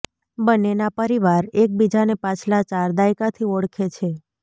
બંનેના પરિવાર એક બીજાને પાછલા ચાર દાયકાથી ઓળખે છે